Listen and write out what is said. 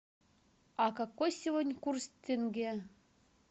а какой сегодня курс тенге